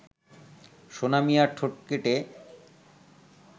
সোনা মিয়ার ঠোঁট কেটে